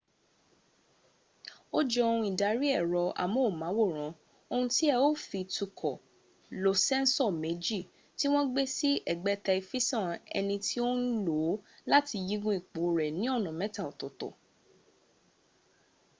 ó jọ ohun ìdarí ẹ̀rọ amóhùnmáwòrán ohun tí ẹ ó fi tukọ̀ lo sẹ́ńsọ̀ méjì tí wọ́n gbé sí ẹ̀gbẹ́tẹ̀ifisàn ẹni tí ó ń lòó láti yígun ipo rẹ̀ ni ọnà mẹ́ta ọ̀tọ̀ọ̀tọ̀